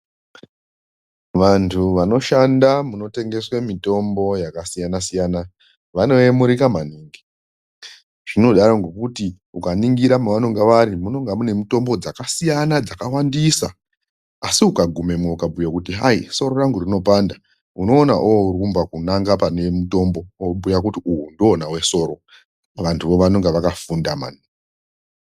Vantu vanoshanda munotengeswe mitombo yakasiyana siyana vanoyemurika maningi zvinodaro ngokuti ukaningira mavanenge vari munonga mune mitombo dzakasiyana dzakawandisa asi ukagumamwo kuti hayi soro rangu rinopanda unoona orumba kunanga pane mutombo vobhuya kuti uyu ndiwona wesoro vantuvo vanenge vakafunda mani.